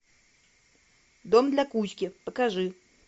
дом для кузьки покажи